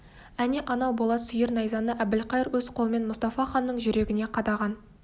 әне анау болат сүйір найзаны әбілқайыр өз қолымен мұстафа ханның жүрегіне қадаған